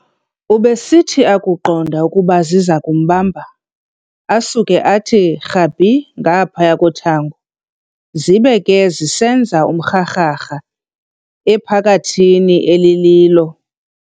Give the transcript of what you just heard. Ubesithi akuqonda ukuba zizakumbamba, asuke athi rhabi ngaphaya kothango, zibe ke sezisenza umrharharha ephakathini elililo.